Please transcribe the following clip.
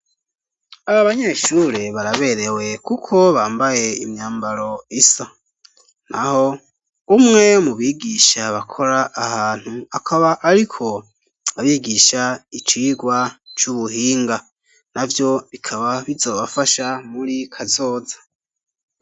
Aba banyeshure baraberewe kuko bambaye imyambaro isa; naho umwe mu bigisha bakora aha hantu, akaba ariko abigisha icigwa c'ubuhinga; navyo bikaba bizobafasha muri kazoza.